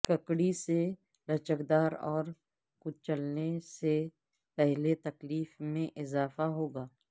ککڑی سے لچکدار اور کچلنے سے پہلے تکلیف میں اضافہ ہوگا